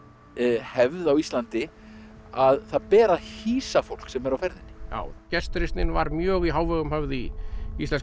hefð á Íslandi að það ber að hýsa fólk sem er á ferðinni já gestrisnin var mjög í hávegum höfð í íslenska